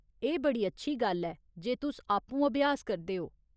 एह् बड़ी अच्छी गल्ल ऐ जे तुस आपूं अभ्यास करदे ओ।